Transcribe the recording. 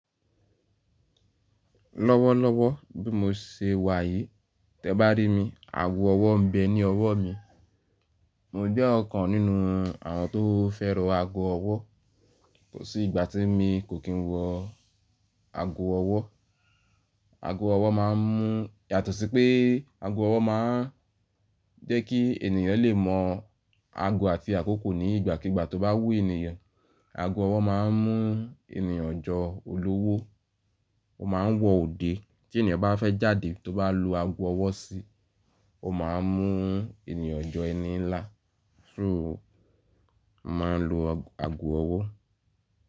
Lọ́wọ́lọ́wọ́ bí mo ṣe wà yìí, tẹ bá rí mi, ago ọwọ́ ń bẹ ní ọwọ́ mi. Mo jẹ́ ọ̀kan nínú àwọn tó fẹ́ràn ago ọwọ́. Kò sí ìgbà tí mo kò kín wọ ago ọwọ́. Ago ọwọ́ máa ń mú, yàtọ̀ sí pé ago ọwọ́ máa ń jẹ́ kí ènìyàn lè mọ ago àti àkókò ní ìgbàkígbà tó bá wú ènìyàn. Ago ọwọ́ máa ń mú ènìyàn jọ olówó. Ó máa ń wọ òde. Tí ènìyàn bá fẹ́ jáde tó bá lu ago ọwọ́ sí, ó máa ń mú ènìyàn jọ ẹni ńlá. So mo máa ń lo ago ọwọ́.